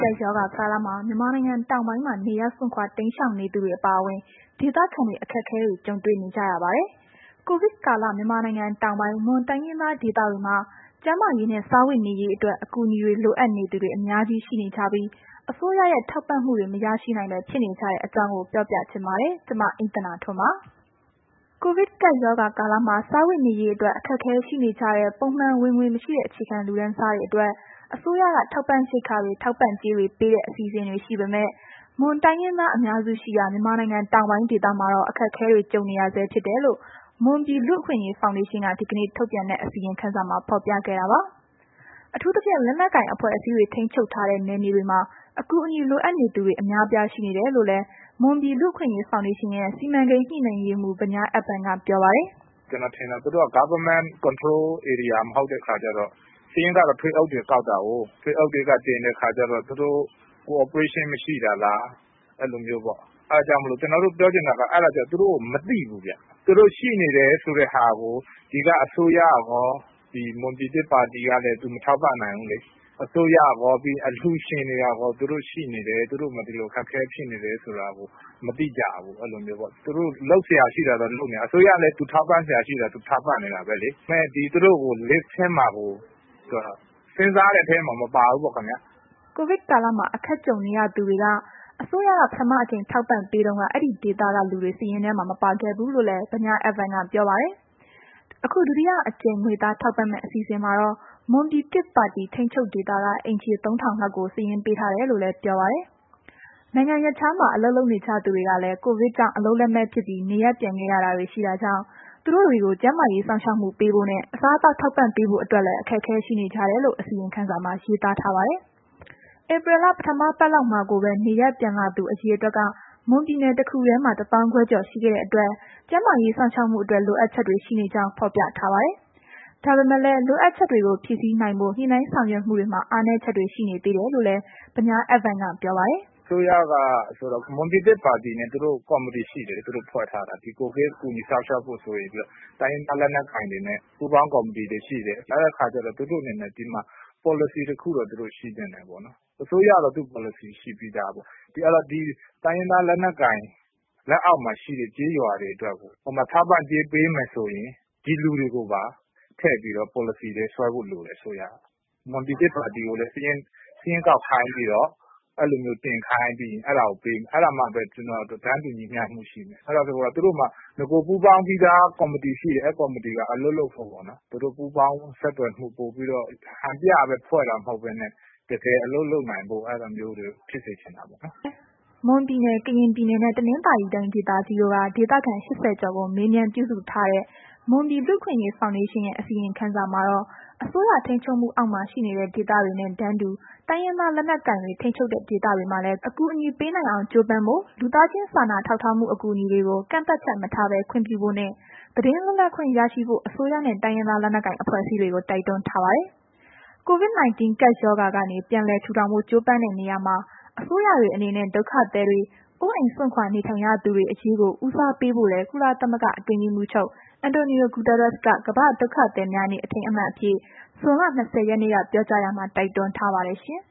ကပ်ရောဂါကာလမှာ မြန်မာနိုင်ငံတောင်ပိုင်းမှာ နေရပ်စွန့်ခွာတိမ်းရှောင်နေသူတွေ အပါအဝင် ဒေသခံတွေ အခက်အခဲတွေ ကြုံနေရတဲ့အကြောင်း ပြောပြပေးပါမယ်။ ကိုဗစ်ကာလ မြန်မာနိုင်ငံတောင်ပိုင်း မွန်တိုင်းရင်းသားဒေသတွေမှာ ကျန်းမာရေးနှင့် စားဝတ်နေရေးအတွက် အကူအညီလိုအပ်နေသူတွေ အများကြီးရှိနေကြပြီး အစိုးရရဲ့ ထောက်ပံ့မှုတွေမရနိုင်ဘဲ ဖြစ်နေကြတဲ့အကြောင်းကို ဗွီအိုအေမြန်မာပိုင်းသတင်းထောက် မအိမ့်သန္တာထွန်းက ပြောပြပေးပါမယ်။ ကိုဗစ်ကပ်ရောဂါကာလမှာ စားဝတ်နေရေးအတွက် အခက်အခဲရှိနေကြတဲ့ ပုံမှန်ဝင်ငွေမရှိတဲ့ အခြေခံလူတန်းစားတွေအတွက် အစိုးရက ထောက်ပံ့ရိက္ခာတွေ၊ ထောက်ပံ့ကြေးတွေပေးတဲ့ အစီအစဉ်တွေ ရှိပေမဲ့ မွန်တိုင်းရင်းသား အများစုရှိရာ မြန်မာနိုင်ငံ တောင်ပိုင်းဒေသမှာတော့ အခက်အခဲတွေ ကြုံနေရဆဲ ဖြစ်တယ်လို့ မွန်ပြည် လူ့အခွင့်အရေးဖောင်ဒေးရှင်းက ဒီကနေ့ ထုတ်ပြန်တဲ့ အစီရင်ခံစာမှာ ဖော်ပြခဲ့တာပါ။ အထူးသဖြင့် လက်နက်ကိုင်အဖွဲ့အစည်းတွေ ထိန်းချုပ်ထားတဲ့ နယ်မြေတွေမှာ အကူအညီလိုအပ်နေသူတွေ အများအပြား ရှိနေတယ်လို့လည်း မွန်ပြည်နယ် လူ့အခွင့်အရေးဖောင်ဒေးရှင်းရဲ့ စီမံကိန်းညှိနှိုင်းရေးမှုး ဗညားအက်ဗန်က ပြောပါတယ်။ “ကျနော် ထင်တာ သူတို့က Government Control Area မဟုတ်တဲ့အခါကျတော့ စာရင်းက ထွေအုပ်တွေကောက်တာကိုး ထွေအုပ်တွေက တင်တဲ့အခါကျတော့ သူတို့ cooperation မရှိတာလား၊ အဲ့ဒါမျိုးပေါ့။ အဲ့ဒါကြောင့်မို့လို့ ကျနော်တို့ပြောချင်တာက သူတို့မသိဘူးဗျ။ သူတို့ရှိနေတယ်ဆိုတာ ကို ဒီက အစိုးရကော မွန်ပြည်သစ်ပါတီကလည်း သူတို့ မထောက်ပံ့နိုင်ဘူးလေ။ ပြီးတော့ အစိုးရရော၊ အလှူရှင်တွေကရော သူတို့ရှိနေတယ် သူတို့မှာ ဒီလို အခက်အခဲဖြစ်နေတယ်ဆိုတာကို မသိကြဘူး။ သူတို့လုပ်စရာရှိတာတော့ လုပ်နေကြတာပဲ အစိုးရလည်း သူထောက်ပံ့စရာရှိတာ ထောက်ပံ့နေတာပဲလေ။ ဒါပေမဲ့ သူတို့ကို စဉ်စားတဲ့အထဲမှာ မပါဘူးပေါ့ခင်ဗျ။” ကိုဗစ်ကာလမှာ အခက်ကြုံနေရသူတွေက အစိုးရက ပထမအကြိမ်ထောက်ပံ့တုန်းက ဒီဒေသကလူတွေ စာရင်းထဲမှာ မပါခဲ့ဘူးလို့လည်း ဗညားအက်ဗန်ကပြောပါတယ်။ အခုဒုတိယတစ်ကြိမ် ငွေသားထောက်ပံ့မယ့် အစီအစဉ်မှာတော့ မွန်ပြည်သစ်ပါတီ ထိန်းချုပ်ဒေသက အိမ်ခြေ ၃,၀၀၀ လောက်ကို စာရင်းပေးထားတယ်လို့လည်း ပြောပါတယ်။ နိုင်ငံရပ်ခြားမှာ အလုပ်လုပ်နေကြတဲ့သူတွေကလည်း ကိုဗစ်ကြောင့် အလုပ်လက်မဲ့ဖြစ်ပြီး နေရပ်ပြန်ခဲ့ရတာတွေရှိတာကြောင့် သူတို့တွေကို ကျန်းမာရေးစောင့်ရှောက်မှုပေးဖို့နှင့် အစားအသောက်ထောက်ပံ့ဖို့အတွက်လည်း အခက်အခဲရှိနေကြတယ်လို့ အစီရင်ခံစာမှာရေးသား ထားပါတယ်။ ဧပြီလ ပထမပတ်လောက်မှာကိုပဲ နေရပ်ပြန်လာသူ အရေအတွက်က မွန်ပြည်နယ်တစ်ခုတည်းမှာ ၁၅,၀၀၀ ကျော် ရှိခဲ့တဲ့အတွက် ကျန်းမာရေး စောင့်ရှောက်မှုအတွက် လိုအပ်ချက်တွေ ရှိနေကြောင်း ဖော်ပြထားပါတယ်။ ဒါပေမဲ့လည်း လိုအပ်ချက်တွေကို ဖြည့်ဆည်းနိုင်ဖို့ ညှိနှိုင်းဆောင်ရွက်မှုတွေမှာ အားနည်းချက်တွေ ရှိနေတယ်လို့လည်း ဗညားအက်ဗန်က ပြောပါတယ်။ “အစိုးရ မွန်ပြည်သစ်ပါတီနဲ့ ဖွဲ့ထားတဲ့ ကော်မတီရှိတယ်။ ဒီကိုဗစ် ကူညီစောင့်ရှောက်ဖို့ဆိုပြီးတော့ တိုင်းရင်းသားလက်နက်ကိုင်တွေနဲ့ ပူးပေါင်းကော်မတီတွေရှိတယ်။ အဲ့တော့ သူတို့အနေနဲ့ ပေါ်လစီ တစ်ခုတော့ သူတို့ရှိသင့်တယ်ပေ့ါနော်။ အစိုးရကတော့ သူ့ပေါ်လစီရှိပြီးသားပဲ ဒီတိုင်းရင်သားလက် နက်ကိုင်တွေရဲ့ လက်အောက်မှာ ရှိတဲ့ကျေးရွောတွေအတွက်ကို ထောက်ပံ့ကြေးပေးဖို့ဆိုရင် ဒီလူတွေကိုပါ ထည့်ပြီးတော့ ပေါ်လစီတွေဆွဲဖို့လိုတယ် အစိုးရက၊ မွန်ပြည်သစ်ပါတီကိုလည်း စာရင်းကောက် ခိုင်းပြီးတော့ အဲ့တာကိုပေး၊ အဲ့ဒါမှပဲ တန်းတူညီမျှမှုရှိမယ်။ သူတို့မှာ နဂိုပူးပေါင်းပြီးသား ကော်မတီ ရှိတယ်၊ အဲ့ဒီကော်မတီက အလုပ်လုပ်ဖို့ပေါ့နော်။ သူတို့ရဲ့ ပူးပေါင်းဆောင်ရွက်မှုက ဟန်ပြပဲဖွဲ့တာမဟုတ်ဘဲနဲ့ တကယ်အလုပ်လုပ်တာမျိုး ဖြစ်စေချင်တာပေါ့နော်။” မွန်ပြည်နယ် ကရင်ပြည်နယ်နှင့် တနင်္သာရီတိုင်းဒေသကြီးတို့က ဒေသခံ ၈၀ ကျော်ကို မေးမြန်းပြုစုထားတဲ့ မွန်ပြည် လူ့အခွင့်အရေးဖောင်ဒေးရှင်းရဲ့ အစီရင်ခံစာမှာတော့ အစိုးရထိန်းချုပ်မှုအောက်မှာ ရှိနေတဲ့ ဒေသတွေနဲ့တန်းတူ တိုင်းရင်းသားလက်နက်ကိုင်တွေ ထိန်းချုပ်တဲ့ဒေသတွေမှာလည်း အကူအညီပေးနိုင်အောင် ကြိုးပမ်းဖို့ု့၊ လူသားချင်းစာနာထောက်ထားမှု အကူအညီတွေကို ကန့်သတ်ချက်မထားဘဲ ခွင့်ပြုဖို့နဲ့ သတင်းလွတ်လပ်ခွင့်ရှိဖို့ အစိုးရနဲ့ တိုင်းရင်းသားလက်နက်ကိုင် အဖွဲ့အစည်းတွေကို တိုက်တွန်းထားပါတယ်။ COVID-19 ကပ်ရောဂါကနေ ပြန်လည်ထူထောင်ဖို့ ကြိုးပမ်းတဲ့နေရာမှာ အစိုးရတွေ အနေနဲ့ ဒုက္ခသည်တွေ၊ အိုးအိမ်စွန့်ခွာ နေထိုင်နေရသူတွေ အရေးကို ဦးစားပေးဖို့လည်း ကုလသမဂ္ဂ အတွင်းရေးမှူးချုပ် António Guterres က ကမ္ဘာ့ဒုက္ခသည်များနေ့ အထိမ်းအမှတ်အဖြစ် ဇွန်လ ၂၀ ရက်နေ့က ပြောကြားရာမှာ တိုက်တွန်းထားပါတယ်ရှင်